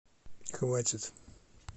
хватит